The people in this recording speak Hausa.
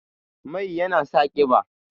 Mai yana sa ƙiba